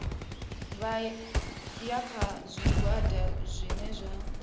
ya kha zwigwada zwohe zwi